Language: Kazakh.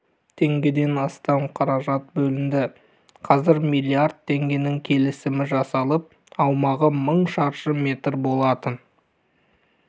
теңгеден астам қаражат бөлінді қазір млрд теңгенің келісімі жасалып аумағы мың шаршы метр болатын